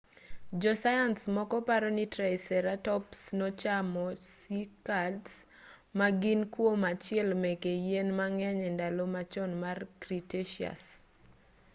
jo sayans moko paroni triceratops nochamo cycads ma gin kuom achiel meke yien ma ng'eny e ndalo machon mar cretaceous